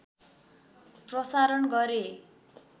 प्रसारण गरे